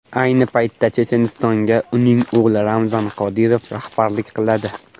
Ayni paytda Chechenistonga uning o‘g‘li Ramzan Qodirov rahbarlik qiladi.